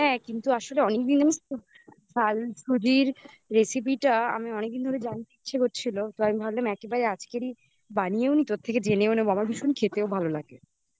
হ্যাঁ কিন্তু আসলে অনেকদিন ধরে আমি ঝাল সুজির recipe টা জানতে ইচ্ছা করছিল তো আমি ভাবলাম একেবারে আজকেরই বানিয়েও নি তোর থেকে জেনেও নেব আমার ভীষণ খেতেও ভালো লাগে